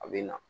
A bɛ na